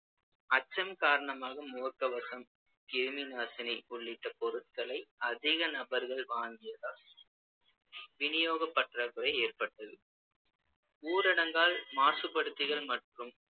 அச்சம் காரணமாக முகக்கவசம், கிருமிநாசினி உள்ளிட்ட பொருட்களை அதிக நபர்கள் வாங்கியதால் விநியோகப் பற்றாக்குறை ஏற்பட்டது ஊரடங்கால் மாசுபடுத்திகள் மற்றும்